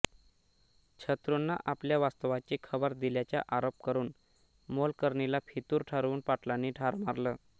शत्रुंना आपल्या वास्तव्याची खबर दिल्याचा आरोप करून मोलकरणीला फितूर ठरवून पाटलांनी ठार मारलं